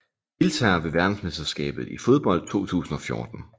Deltagere ved verdensmesterskabet i fodbold 2014